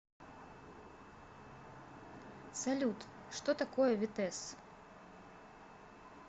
салют что такое витесс